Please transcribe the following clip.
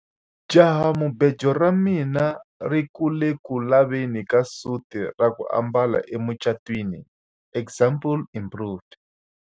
jahamubejo ra mina ri ku le ku laveni ka suti ya ku ambala emucatwiniexample improved